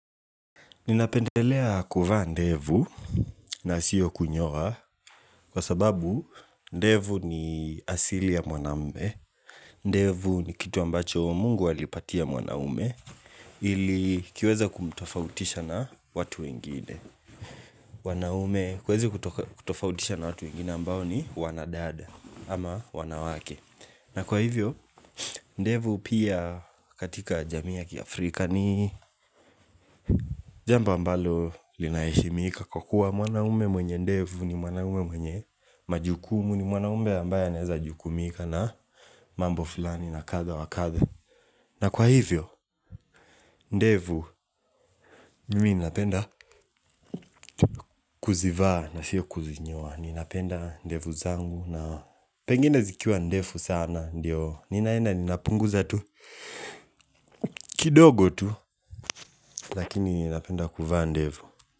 Ninapendelea kuvaa ndevu na siyo kunyoa Kwa sababu ndevu ni asili ya mwanamume. Ndevu ni kitu ambacho mungu alipatia mwanaume ili kiweza kumtofautisha na watu ingine wanaume huwezi kutofautisha na watu wengine ambao ni wanadada ama wanawake na kwa hivyo ndevu pia katika jamii ya kiafrika ni Jambo ambalo linaheshimika kwa kuwa mwanaume mwenye ndevu ni mwanamume mwenye majukumu ni mwanamume ambaye anaeza jukumika na mambo fulani na kadha wa kadha na kwa hivyo ndevu mimi ninapenda kuzivaa na sio kuzinyoa. Ninapenda ndevu zangu na pengine zikiwa ndevu sana ndio ninaenda ninapunguza tu kidogo tu lakini inapenda kuvaa ndevu.